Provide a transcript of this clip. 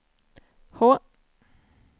H